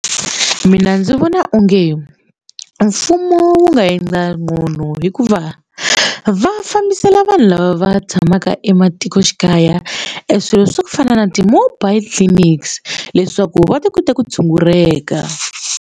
Mina ndzi vona onge mfumo wu nga endla gcono hikuva va fambisela vanhu lava va tshamaka ematikoxikaya e swilo swa ku fana na ti-mobile clinics leswaku va ta kota ku tshunguleka.